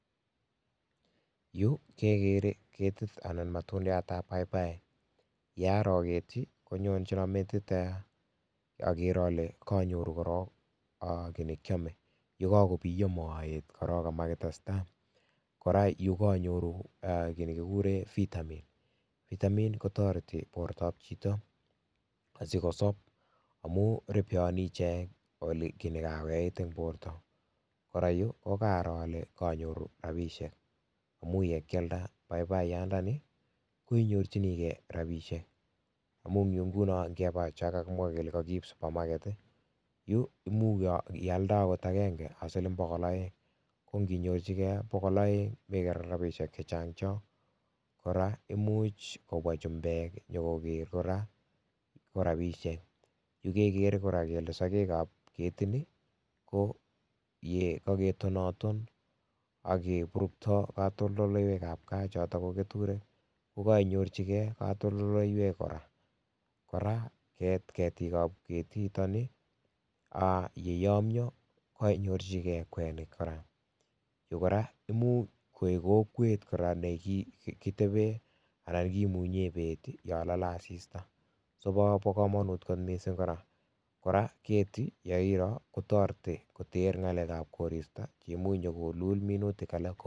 Yuu kekeree ketit anan matundiatab paipai, yaroo ketii konyonchon metit eeh, okeree olee koonyoru korok kii nekiome yekokobiyo moet korok komakitestaa, kora yu koonyoru eeh kii nekikuree vitamin, vitamin kotoretii bortab chito asikosob amuu ripeoni ichek olekinekakoyait eng borto, kora yuu ko karoo olee koonyoru rabishek amuu yekialda paipaiyandani koinyorchinikee rabishek amung yuu ng'unoo ng'ebaa chaakakimwaa kelee kokiib supermarket i yuu imuuch ialde akot akeng'e ak siling bokol oeng konginyorchikee bokol oeng iker ilee rabishek chechang chon kora imuch kobwa chumbek konyokoker kora korabishek, yuu kekeree kora kelee sokeekaab ketinii ko yekaketonaton akeburukto kotoldoiwek ab kaa choton ko ketureek kokoinyorchikee katoidoiwek kora, kora ketiik ab ketiton i aah yeyomnyo koinyorchiikee kwenik kora, yuu koraa imuuch koik kokweet koraa nekitebeen anan kimunyeen beet yon lolee asista, sobokomonuut kot misiing koraa, koraa ketii yeiroo kotoretii koteer ngalek ab koristo cheimuche kolul minutik alak ko.